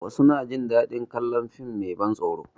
Wasu na jin daɗin kalon fim mai ban tsoro